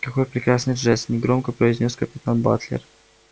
какой прекрасный жест негромко произнёс капитан батлер